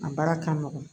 A baara ka nɔgɔn